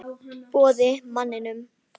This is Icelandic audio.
Boði: Manninum?